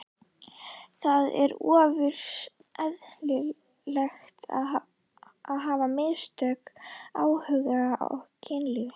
En það er ofureðlilegt að hafa mismikinn áhuga á kynlífi.